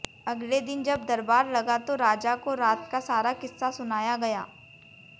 अगले दिन जब दरबार लगा तो राजा को रात का सारा किस्सा सुनाया गया